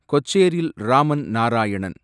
Kocheril Raman Narayanan